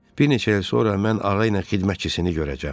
Bir neçə il sonra mən ağa ilə xidmətçisini görəcəm.